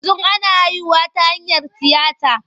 Yanzu ana haihuwa ta hanyar tiyata.